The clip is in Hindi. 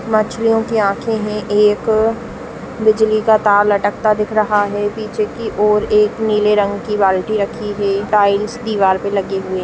मछलियों की आँखें है एक बिजली का तार लटकता दिख रहा है पीछे की ओर एक नीले रंग की बाल्टी रखी है टाइल्स दीवार पर लगे हुए --